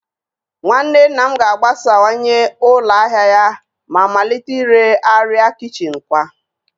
Nwanne nna m ga-agbasawanye ụlọ ahịa ya ma malite ire arịa kichin kwa